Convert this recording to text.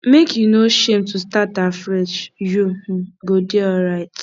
make you no shame to start afresh you um go dey alright